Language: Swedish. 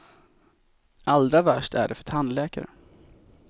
Allra värst är det för tandläkare.